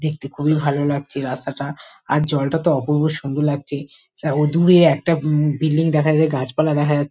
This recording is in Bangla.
দেখতে খুবই ভালো লাগছে রাস্তাটা আর জলটা তো অপূর্ব সুন্দর লাগছে ও দূরে একটা উম বিল্ডিং দেখা যায় গাছপালা দেখা যাচ--